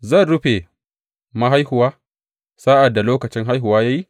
Zan rufe mahaihuwa sa’ad da lokacin haihuwa ya yi?